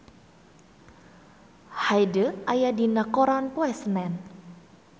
Hyde aya dina koran poe Senen